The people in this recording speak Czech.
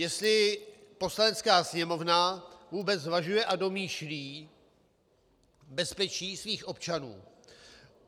Jestli Poslanecká sněmovna vůbec zvažuje a domýšlí bezpečí svých občanů.